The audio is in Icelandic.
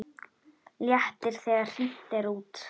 Léttir þegar hringt er út.